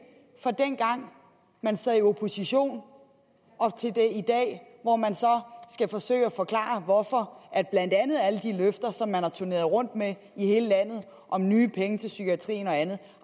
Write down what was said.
fra dengang man sad i opposition og og til i dag hvor man så skal forsøge at forklare hvorfor blandt andet alle de løfter som man har turneret rundt med i hele landet om nye penge til psykiatrien og andet